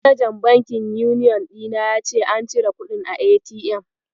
Manajan bankin Uniyon ɗina ya ce an cire kuɗin a ATM.